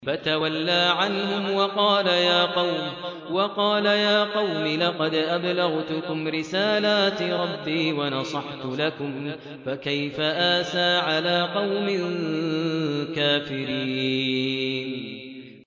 فَتَوَلَّىٰ عَنْهُمْ وَقَالَ يَا قَوْمِ لَقَدْ أَبْلَغْتُكُمْ رِسَالَاتِ رَبِّي وَنَصَحْتُ لَكُمْ ۖ فَكَيْفَ آسَىٰ عَلَىٰ قَوْمٍ كَافِرِينَ